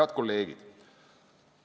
Head kolleegid!